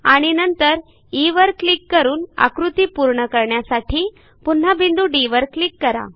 आणि नंतर ई वर क्लिक करून आकृती पूर्ण करण्यासाठी पुन्हा बिंदू Dवर क्लिक करा